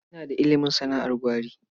Ina da ilimin sana'ar gwari.